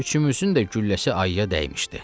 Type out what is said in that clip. Üçümüzün də gülləsi ayıya dəymişdi.